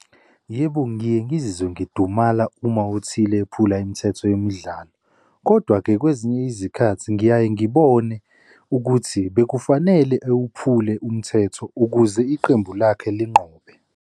Yebo, ngiye ngizizwe ngidumala uma othile ephula imithetho yemidlalo. Kodwa-ke kwezinye izikhathi ngiyaye ngibone ukuthi bekufanele ewuphule umthetho ukuze iqembu lakhe linqoba.